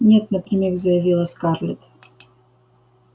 нет напрямик заявила скарлетт